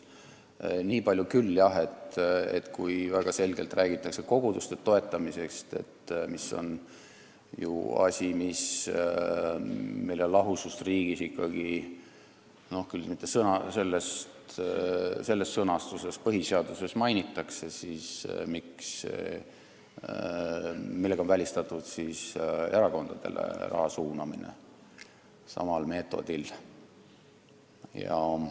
Nii palju tuli jutuks küll, et kui väga selgelt räägitakse koguduste toetamisest, mis on ju asi, mille lahusust riigist põhiseaduses mainitakse, ehkki mitte selles sõnastuses, siis millega on välistatud erakondadele raha suunamine samal meetodil.